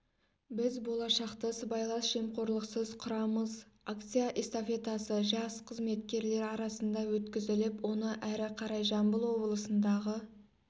біз болашақты сыбайлас жемқорлықсыз құрамыз акция-эстафетасы жас қызметкерлер арасында өткізіліп оны әрі қарай жамбыл облысындағы